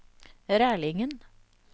Rælingen